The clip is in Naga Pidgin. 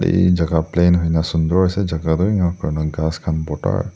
ete jaka plain hoina sunder ase jaka toh enika kurina ghas khan toh borta.